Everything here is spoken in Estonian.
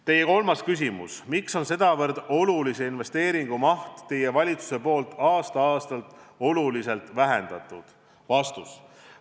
Teie kolmas küsimus: miks on teie valitsus sedavõrd olulise investeeringu mahtu aasta-aastalt oluliselt vähendanud?